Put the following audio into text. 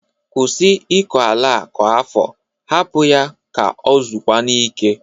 Kwusi ịkọ ala a kwa afọ. Hapụ ya ka o zokwanụ ike!